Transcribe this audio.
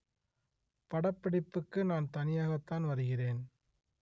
படப்பிடிப்புக்கு நான் தனியாகத்தான் வருகிறேன்